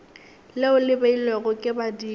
leo le beilwego ke badimo